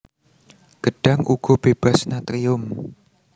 Gedhang uga bébas natrium